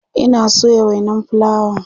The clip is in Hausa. Ina soya wainan fulawa